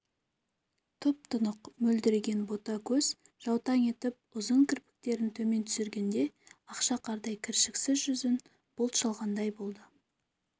тұп-тұнық мөлдіреген бота көз жаутаң етіп ұзын кірпіктерін төмен түсіргенде ақша қардай кіршіксіз жүзін бұлт шалғандай болды